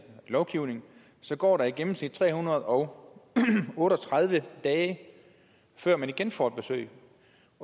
lovgivning så går der i gennemsnit tre hundrede og otte og tredive dage før man igen får et besøg